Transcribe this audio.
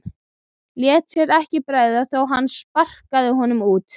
Léti sér ekki bregða þó að hann sparkaði honum út.